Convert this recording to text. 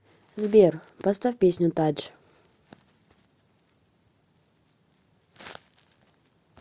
сбер поставь песню тадж